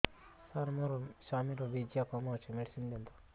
ସାର ମୋର ସ୍ୱାମୀଙ୍କର ବୀର୍ଯ୍ୟ କମ ଅଛି ମେଡିସିନ ଦିଅନ୍ତୁ